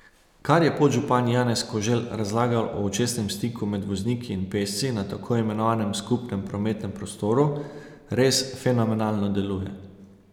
Kar je podžupan Janez Koželj razlagal o očesnem stiku med vozniki in pešci na tako imenovanem skupnem prometnem prostoru, res fenomenalno deluje.